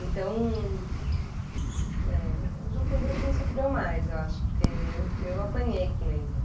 Então, eh, o João Pedro é quem sofreu mais, eu acho, porque eu eu apanhei com ele.